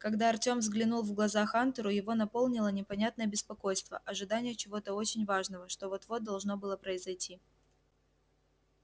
когда артём взглянул в глаза хантеру его наполнило непонятное беспокойство ожидание чего-то очень важного что вот-вот должно было произойти